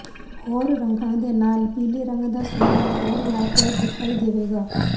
ਹੋਰ ਰੰਗਾਂ ਦੇ ਨਾਲ ਪੀਲੇ ਰੰਗ ਦਾ ਸੁਮੇਲ ਹੋਰ ਲਾਭਦਾਇਕ ਦਿਖਾਈ ਦੇਵੇਗਾ